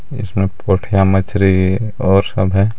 इसमें पोठिया मछरी और सब है.